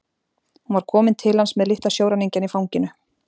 Hún var komin til hans með litla sjóræningjann í fanginu.